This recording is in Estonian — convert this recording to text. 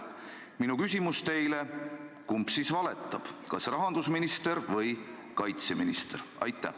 Mu küsimus teile on: kumb siis valetab, kas rahandusminister või kaitseminister?